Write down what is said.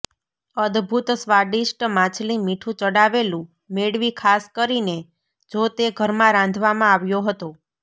અદ્ભૂત સ્વાદિષ્ટ માછલી મીઠું ચડાવેલું મેળવી ખાસ કરીને જો તે ઘરમાં રાંધવામાં આવ્યો હતો